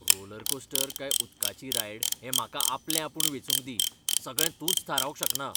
Rollercoaster काय उदकाची ride हें म्हाका आपलेआपूण वेंचूंक दी, सगळें तूंच थारावंक शकना.